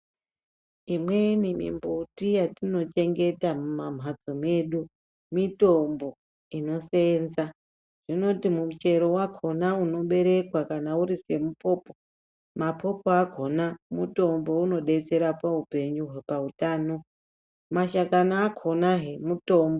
Imweni mimbuti yatinochengeta muma mhatso medu mitombo inosenza. Zvinoti muchero vakona unoberekwa kana uri semupopo mapopo akona mutombo unobetsera paupenyu pautano, mashakani akonahe mutombo